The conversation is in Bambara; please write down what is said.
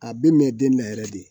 A bɛ mɛn den na yɛrɛ de